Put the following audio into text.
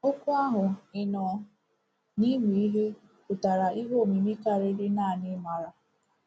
Okwu ahụ “ịnọ n’ịmụ ihe” pụtara ihe omimi karịa naanị “ịmara.”